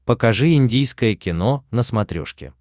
покажи индийское кино на смотрешке